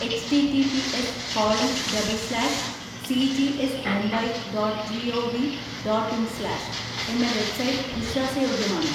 H T T P S colon double slash C G S Mumbai dot G O V dot in slash , എന്ന website വിശ്വാസ യോഗ്യമാണോ?